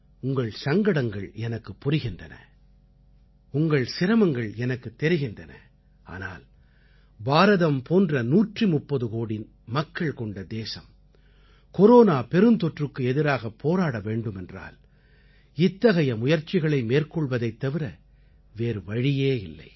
உங்கள் சங்கடங்கள் எனக்குப் புரிகின்றன உங்கள் சிரமங்கள் எனக்குத் தெரிகின்றன ஆனால் பாரதம் போன்ற 130 கோடி மக்கள் கொண்ட தேசம் கொரோனா பெருந்தொற்றுக்கு எதிராக போராட வேண்டுமென்றால் இத்தகைய முயற்சிகளை மேற்கொள்வதைத் தவிர வேறு வழியே இல்லை